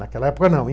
Naquela época, não.